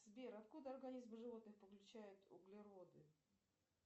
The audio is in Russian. сбер откуда организм животных получает углероды